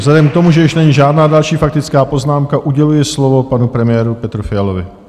Vzhledem k tomu, že již není žádná další faktická poznámka, uděluji slovo panu premiéru Petru Fialovi.